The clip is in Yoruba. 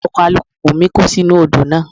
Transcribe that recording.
Ọkọ̀ alùpùpù mi kó sí inú Odò náà.